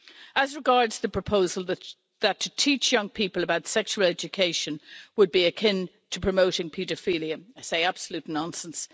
As regards the proposal that to teach young people about sexual education would be akin to promoting paedophilia, I say absolute nonsense.